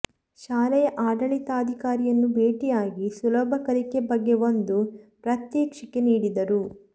ಶಾಲೆಯ ಆಡಳಿತಾಧಿಕಾರಿಯನ್ನು ಭೇಟಿಯಾಗಿ ಸುಲಭ ಕಲಿಕೆ ಬಗ್ಗೆ ಒಂದು ಪ್ರಾತ್ಯಕ್ಷಿಕೆ ನೀಡಿದರು